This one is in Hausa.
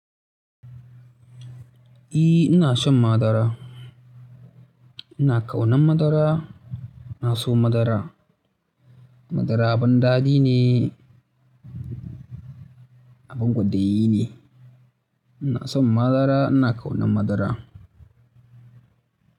E, ina son madara. Ina ƙaunan madara, ina so madara. Madara abin daɗi ne, abin kwaɗayi ne. Ina son madara, ina ƙaunan madara.